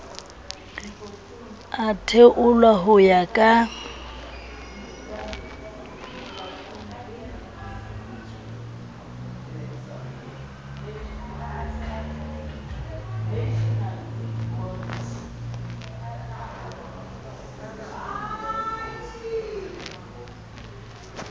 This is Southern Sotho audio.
a theolwa ho ya ka